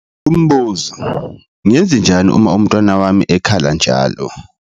Umbuzo - Ngenzenjani uma umntwana wami ekhala njalo?